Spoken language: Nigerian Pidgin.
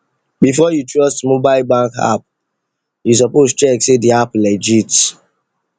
before you trust mobile bank app you suppose check say the app legit